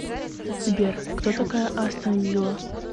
сбер кто такая астон вилла